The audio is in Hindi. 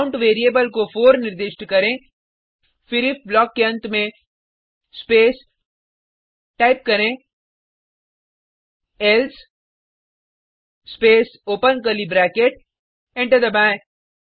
काउंट वेरिएबल को 4 निर्दिष्ट करें फिर इफ ब्लॉक के अंत में स्पेस टाइप करें else space open curly bracket enter दबाएँ